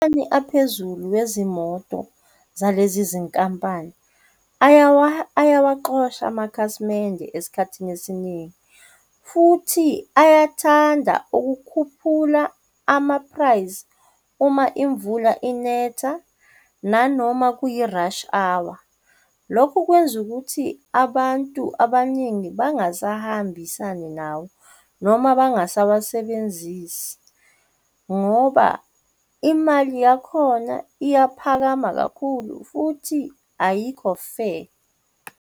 Amanani aphezulu wezimoto zalezi zinkampani ayawa ayawaxosha amakhasimende esikhathini esiningi, futhi uyathanda ukukhuphula ama-price uma imvula inetha, nanoma kuyi-rush hour. Lokhu kwenza ukuthi abantu abaningi bangasahambisani nawo noma bangasawasebenzisi, ngoba imali yakhona iyaphakama kakhulu futhi ayikho fair.